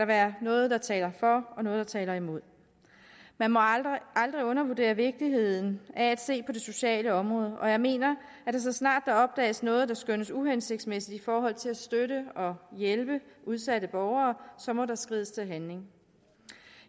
være noget der taler for og noget der taler imod man må aldrig undervurdere vigtigheden af at se på det sociale område og jeg mener at så snart der opdages noget der skønnes uhensigtsmæssigt i forhold til at støtte og hjælpe udsatte borgere må der skrides til handling